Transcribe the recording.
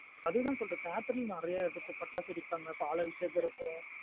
அது தன் சொல்றேன் theatre லாம் நறைய இருக்கும் படைச்சு வெடிபங்கா பால் அபிஷேகம் இருக்கும்.